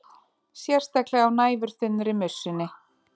Sérstaklega á næfurþunnri mussunni.